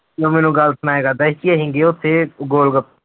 ਉਹ ਮੈਨੂੰ ਗੱਲ ਸੁਣਾਇਆ ਕਰਦਾ ਸੀ ਕਿ ਅਸੀਂ ਗਏ ਉੱਥੇ ਗੋਲ ਗਪ